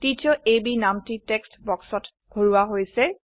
teacher A B নামটি text বাক্সত ভৰোৱা হৈছে